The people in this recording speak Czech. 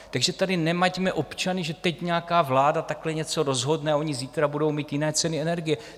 Takže tady nemaťme občany, že teď nějaká vláda takhle něco rozhodne a oni zítra budou mít jiné ceny energie.